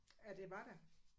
At det var der?